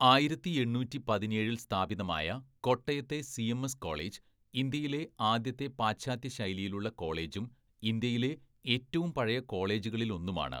"ആയിരത്തി എണ്ണൂറ്റി പതിനേഴില്‍ സ്ഥാപിതമായ കോട്ടയത്തെ സിഎംഎസ് കോളേജ്, ഇന്ത്യയിലെ ആദ്യത്തെ പാശ്ചാത്യ ശൈലിയിലുള്ള കോളേജും ഇന്ത്യയിലെ ഏറ്റവും പഴയ കോളേജുകളിലൊന്നുമാണ്‌ "